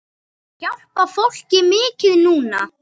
Ég hjálpa fólki mikið núna.